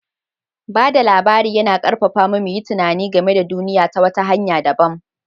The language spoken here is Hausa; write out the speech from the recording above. Ba da labari yana ƙarfafa mu mu yi tunani game da duniya ta wata hanya dabam.